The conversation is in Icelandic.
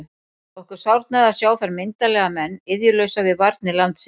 Okkur sárnaði að sjá þar myndarlega menn iðjulausa við varnir landsins.